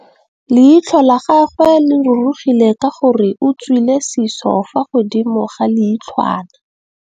Leitlhô la gagwe le rurugile ka gore o tswile sisô fa godimo ga leitlhwana.